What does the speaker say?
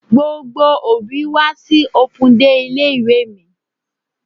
Gbogbo òbí wá sí open day ilé ìwé mi.